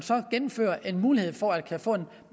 gennemfører en mulighed for at få en